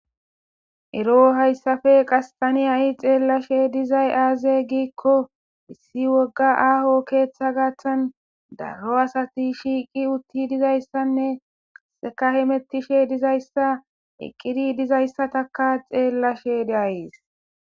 Erro haysappe hay ta xellashe dizzay aybbe ikko issi woga aho keetha garssan darro asatti shiqqi uttida dizzayssa hemetishe dizzayssanne wothishe dizzayssa xellashe de'yis.